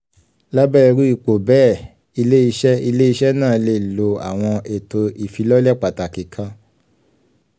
lábẹ́ irú ipò bẹ́ẹ̀ ilé-iṣẹ́ ilé-iṣẹ́ náà lè lo àwọn ètò ìfilọ́lẹ̀ pàtàkì kan.